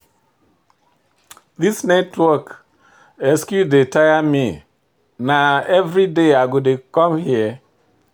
This network excuse don dey tire me, na every day i go dey come here?